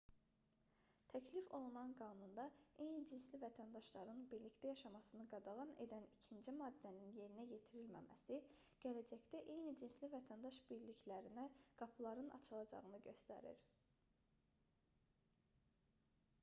təklif olunan qanunda eyni cinsli vətəndaşların birlikdə yaşamasını qadağan edən ikinci maddənin yerinə yetirilməməsi gələcəkdə eyni cinsli vətəndaş birliklərinə qapıların açılacağını göstərir